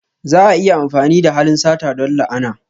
Za a iya amfani da halin sata don la'ana.